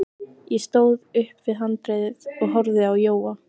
Ég stóð upp við handriðið og horfði á Jóa.